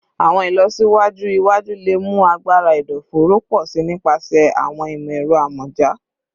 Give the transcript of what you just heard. Awọn ilọsiwaju iwaju le mu agbara ẹdọfóró pọ si nipasẹ awọn imọ-ẹrọ amọja